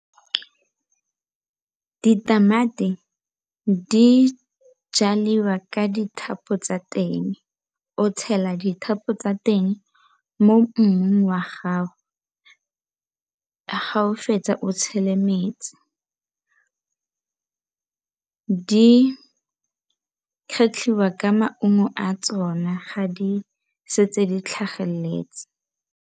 Ditamati di jaliwa ka dithapo tsa teng, o tshela dithapo tsa teng mo mmung wa gago ga o fetsa o tshele metsi ke di kgetlhwa ka maungo a tsona ga di setse di tlhageletse.